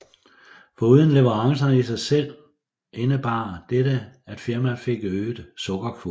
Foruden leverancerne i sig selv indebar dette at firmaet fik øget sukkerkvote